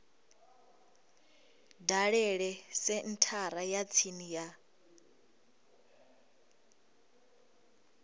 dalele senthara ya tsini ya